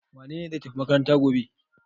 Wane ne zai tafi makaranta gobe?